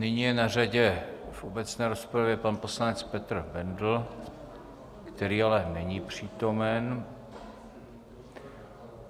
Nyní je na řadě v obecné rozpravě pan poslanec Petr Bendl, který ale není přítomen.